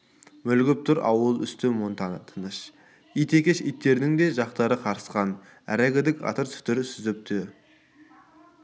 мүлгіп тұр ауыл үсті монтаны тыныш ит екеш иттердің де жақтары қарысқан әрегідік сатыр-сұтыр сүзісіп те